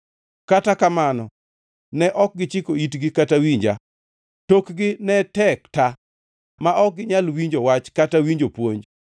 Kata kamano ne ok gichiko itgi kata winja; tokgi ne tek ta ma ok ginyal winjo wach kata winjo puonj.